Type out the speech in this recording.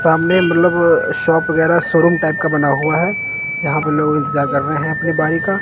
सामने मतलब शॉप वगैरा शोरूम टाइप का बना हुआ है जहां पे लोग इंतजार कर रहे हैं अपने बरि का--